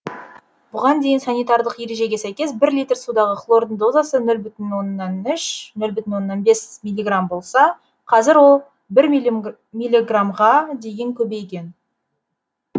бұған дейін санитарлық ережеге сәйкес бір литр судағы хлордың дозасы нөл бүтін оннан үш нөл бүтін оннан бес милиграмм болса қазір ол бір милиграмға дейін көбейген